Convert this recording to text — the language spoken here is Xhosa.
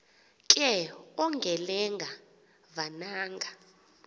ke ongelenga vananga